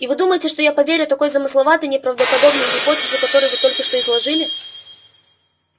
и вы думаете что я поверю такой замысловатой неправдоподобной гипотезу которую вы только что изложили